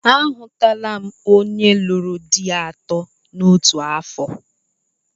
Ahụtụla m onye lụrụ di atọ n'otu afọ